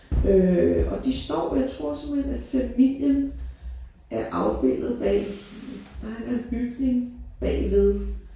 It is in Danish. Øh og de står jeg tror simpelthen at familien er afbildet bag nej der er en bygning bagved